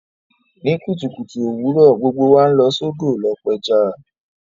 Ní kùtùkùtù òwurọ̀, gbogbo wa n lọ sódò lo pẹja